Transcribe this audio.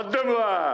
Addım marş!